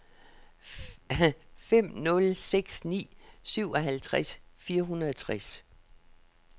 fem nul seks ni syvoghalvfjerds fire hundrede og tres